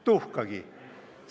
Tuhkagi!